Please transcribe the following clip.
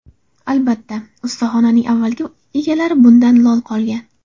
Albatta, ustaxonaning avvalgi egalari bundan lol qolgan.